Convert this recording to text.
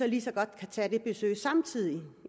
lige så godt tage det besøg samtidig